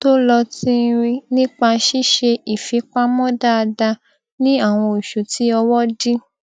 tó lọ tínrín nípa ṣíṣe ìfipamọ dáadáa ní àwọn oṣù tí ọwọ dí